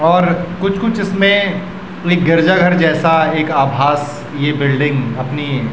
और कुछ-कुछ इसमें गिरिजा घर जैसा एक आभास ये बिल्डिंग अपनी --